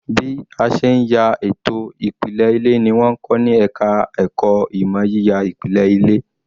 Bí a ṣe ń ya ètò ìpìlẹ̀ ilé ni wọ́n ń kọ ní ẹ̀ka ẹ̀kọ́ ìmọ̀ yíya ìpìlẹ̀ ilé